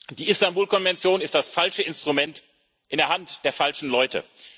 Die Istanbul Konvention ist das falsche Instrument in der Hand der falschen Leute.